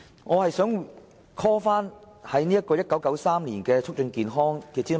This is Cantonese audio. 我想重提政府於1993年發表的"促進健康"諮詢文件。